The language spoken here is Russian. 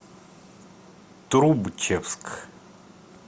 трубчевск